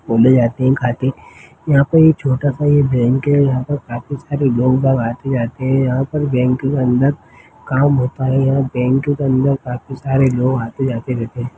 घूमने जाते है काटी यहाँ पर एक छोटा -सा एक बैंक है यहाँ पर काफ़ी सारे लोग आते- जाते है यहाँ पर बैंक के अंदर काम होता है यह बैंक के अंदर काफ़ी सारे लोग आते- जाते रहते हैं।